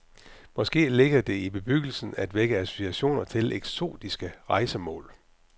Måske ligger det til bebyggelsen at vække associationer til eksotiske rejsemål.